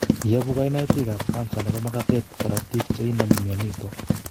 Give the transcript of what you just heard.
Yobu kainutik ab kansa nebo magatet korotik che inomu myonitok